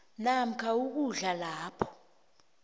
namkha ukudlula lapho